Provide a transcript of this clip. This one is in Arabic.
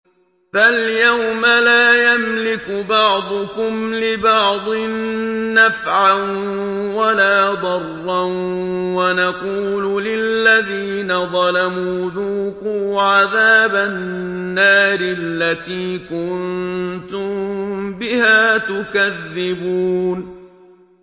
فَالْيَوْمَ لَا يَمْلِكُ بَعْضُكُمْ لِبَعْضٍ نَّفْعًا وَلَا ضَرًّا وَنَقُولُ لِلَّذِينَ ظَلَمُوا ذُوقُوا عَذَابَ النَّارِ الَّتِي كُنتُم بِهَا تُكَذِّبُونَ